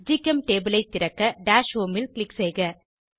ஜிகெம்டேபுள் ஐ திறக்க dash home ல் க்ளிக் செய்க